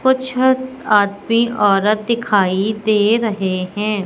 कुछ हत आदमी औरत दिखाइ दे रहे हैं।